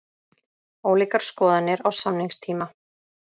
Ólíkar skoðanir á samningstíma